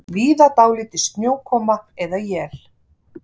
Víða dálítil snjókoma eða él